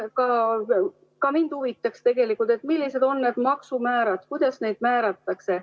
Ka mind huvitab tegelikult, millised on need maksumäärad ja kuidas neid määratakse.